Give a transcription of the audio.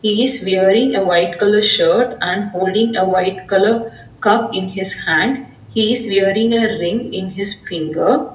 He is wearing a white colour shirt and holding a white colour cup in his hand he is wearing a ring in his finger.